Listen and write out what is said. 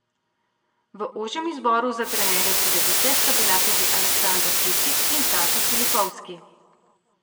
V ožjem izboru za trenerja Cedevite sta bila tudi Aleksandar Džikić in Sašo Filipovski.